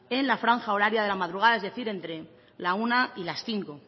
en la franja horaria de la madrugada es decir entre la una y las cinco